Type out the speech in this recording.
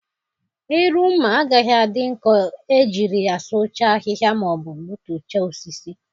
Iru mma agaghị adị nkọ e jiri ya sụchaa ahịhịa ma ọ bụ gbutuchaa osisi.